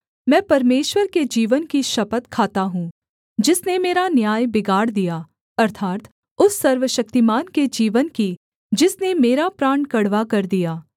मैं परमेश्वर के जीवन की शपथ खाता हूँ जिसने मेरा न्याय बिगाड़ दिया अर्थात् उस सर्वशक्तिमान के जीवन की जिसने मेरा प्राण कड़वा कर दिया